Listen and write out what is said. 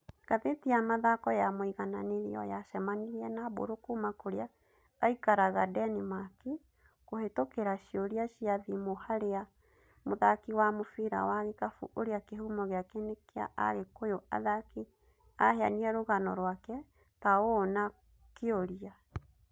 Ngathĩti ya mathako ya Mũigananĩrio yacemanirie na Mbũrũ kuma kũrĩa aikaraga Denimaki kũhitũkira ciũria cia thimũ harĩa mũthaki wa mũbira wa gĩkabũ ũrĩa kĩhũmo gĩake nĩ kĩa agĩkũyũ athaki aheanire rũgano rũake ta ũũ na kĩũria